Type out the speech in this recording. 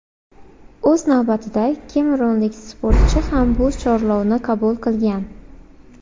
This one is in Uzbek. O‘z navbatida kamerunlik sportchi ham bu chorlovni qabul qilgan.